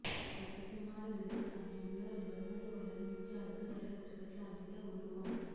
కొత్త సినిమాల విడుదల సమయంలో నిబంధనలు ఉల్లంఘించి అధిక ధరలకు టికెట్లు అమ్మితే ఊరుకోం